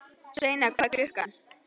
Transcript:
Sveina, hvað er klukkan?